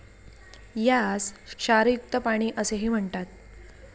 यास 'क्षारयुक्त पाणी असेही म्हणतात.